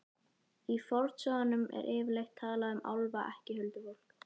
Í fornsögunum er yfirleitt talað um álfa, ekki huldufólk.